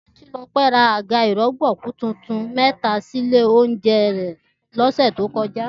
Títílọpẹ́ ra àga ìrọ̀gbọ̀kú tuntun mẹ́ta sínú ilé oúnjẹ rẹ̀ lọ́sẹ̀ tó kọjá